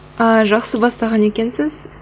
ааа жақсы бастаған екенсіз